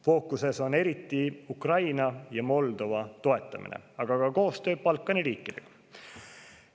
Fookuses on eriti Ukraina ja Moldova toetamine, aga ka koostöö Balkani riikidega.